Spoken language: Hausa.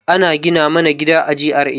Ana gina mana gida a GRA